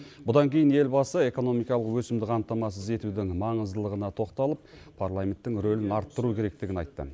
бұдан кейін елбасы экономикалық өсімді қамтамасыз етудің маңыздылығына тоқталып парламенттің рөлін арттыру керектігін айтты